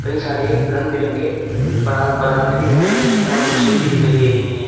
कई सारे रंग बिरंगे परा पदार्थ भी दिखाई दे रहे हैं और मशीन भी दिखाई दे रही है।